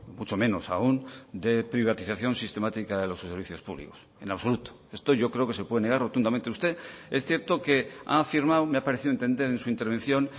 mucho menos aún de privatización sistemática de los servicios públicos en absoluto esto yo creo que se puede negar rotundamente usted es cierto que ha afirmado me ha parecido entender en su intervención